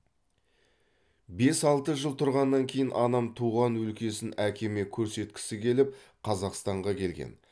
бес алты жыл тұрғаннан кейін анам туған өлкесін әкеме көрсеткісі келіп қазақстанға келген